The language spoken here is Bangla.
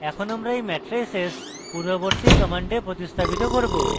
এখন আমরা এই মেট্রাইসেস পূর্ববর্তী command প্রতিস্থাপিত করব